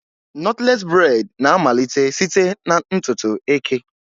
Nọtlés breị́d na-amalite site na ntutu eke